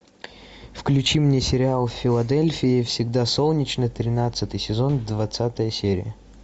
включи мне сериал в филадельфии всегда солнечно тринадцатый сезон двадцатая серия